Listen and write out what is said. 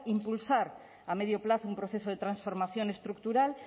impulsar a medio plazo un proceso de transformación estructural